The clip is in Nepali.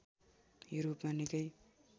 युरोपमा निकै